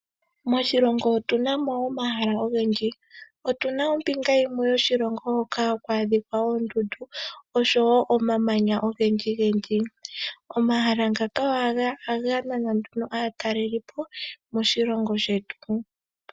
Moshilongo otuna mo omahala ogendji. Otuna ombinga yimwe yoshilongo hoka haku adhika oondundu oshowo omamanya ogendji gendji. Omahala ngaka ohaga nana nduno aatalelipo moshilongo shetu.